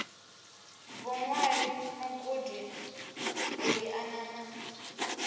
vhuṅwali mugudi u liana na